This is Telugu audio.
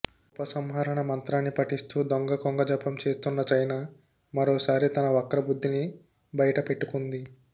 ఉపసంహరణ మంత్రాన్ని పఠిస్తూ దొంగ కొంగజపం చేస్తున్న చైనా మరోసారి తన వక్ర బుద్ధిని బైటపెట్టుకుంది